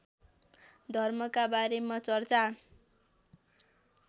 धर्मका बारेमा चर्चा